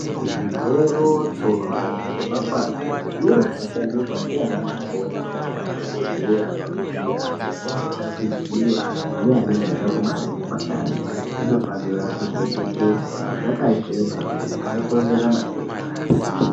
Zvigero nemapanga nezviro zvinoshandiswa ndiana mukoti nemadhokodheya pakuvhiya vantu vanenge veida kuzviyiwa neanenge eida kubara ngepandani zvinofanira kychengetedzwa zvakachena kuti zvisakonzera matenda.